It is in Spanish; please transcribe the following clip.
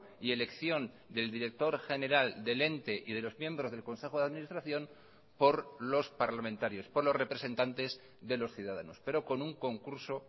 y elección del director general del ente y de los miembros del consejo de administración por los parlamentarios por los representantes de los ciudadanos pero con un concurso